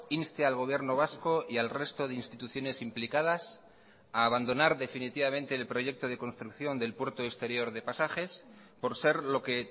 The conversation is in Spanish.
inste al gobierno vasco y al resto de instituciones implicadas a abandonar definitivamente el proyecto de construcción del puerto exterior de pasajes por ser lo que